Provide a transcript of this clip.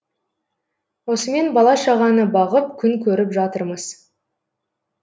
осымен бала шағаны бағып күн көріп жатырмыз